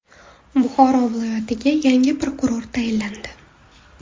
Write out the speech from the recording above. Buxoro viloyatiga yangi prokuror tayinlandi.